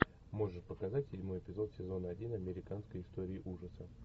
можешь показать седьмой эпизод сезона один американской истории ужасов